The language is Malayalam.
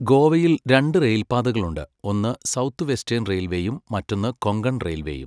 ഗോവയിൽ രണ്ട് റെയിൽ പാതകളുണ്ട്, ഒന്ന് സൗത്ത് വെസ്റ്റേൺ റെയിൽവേയും മറ്റൊന്ന് കൊങ്കൺ റെയിൽവേയും.